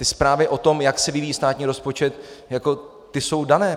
Ty zprávy o tom, jak se vyvíjí státní rozpočet, ty jsou dané.